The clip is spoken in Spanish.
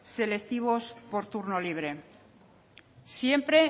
selectivos por turno libre siempre